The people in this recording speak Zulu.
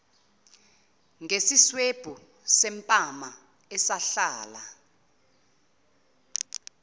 ngesiswebhu sempama esahlala